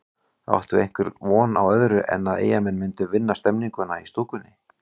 Átti einhver von á öðru en að Eyjamenn myndu vinna stemninguna í stúkunni?